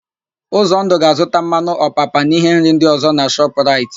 Ụzọndụ ga-azụta mmanụ ọpapa na íhé nri ndị ọ̀zọ́ na Shọp raịt.